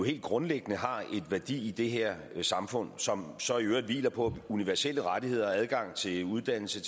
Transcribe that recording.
helt grundlæggende har en værdi i det her samfund som så i øvrigt hviler på universelle rettigheder adgang til uddannelse